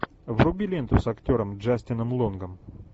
вруби ленту с актером джастином лонгом